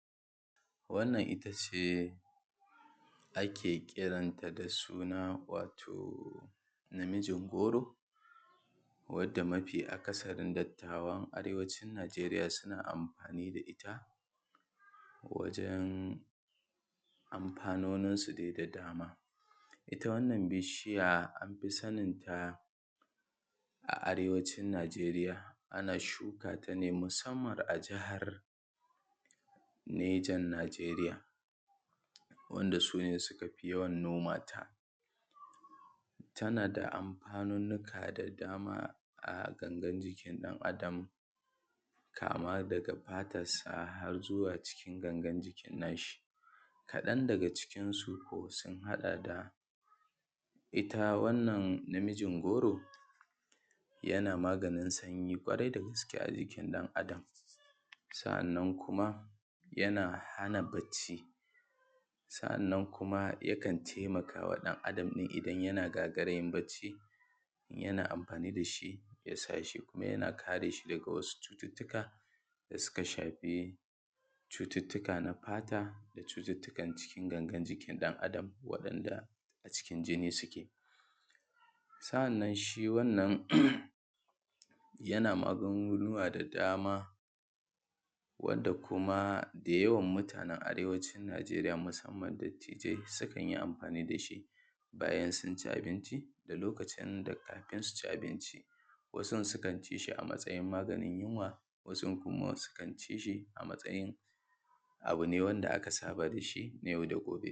Wannan ita ce ake kiranta da suna wato namijin goro, wanda mafi akasarin dattawa na arewacin Najeriya suke amfani da ita wajen hanyoyinsu dai da dama aka fi saninta a arewacin Najeriya musamman a jahar Nejan Najeriya. Wanda su ne suka fi yawan shuka ta, tana da amfanunnuka da dama a angun jikin ɗan Adam, kama daga fatansa har zuwa gangan jikin nashi. Kaɗan daga cikinsu sun haɗa da ita wannan na mijin goron yana maganin sanyi, ƙorai da gaska a jikin ɗan Adam. Sa’an nan kuma yana hana bacci, sa’an nan kuma yakan taimaka ma ɗan Adam in yana gagariyan bacci, yana amfani da shi, ya sa shi kuma yana kare shi daga wasu cututtuka da suka safe cututuka na fata ko cututtuka na cikin jikin ɗan Adam. Waɗanda a cikin jini yake sa’an nan shi wannan yana magunguna da dama wanda kuma da yawan mutanen arewacin Najeriya musamman dattijai sukan yi amfani da shi. Bayan sun ci abinci da kafun su ci abinci, wasun kuma sukan ci shi a matsayin maganin yunwa, wasun kuma sukan ci shi a matyayin abu ne da aka saba da shi na yau da gobe.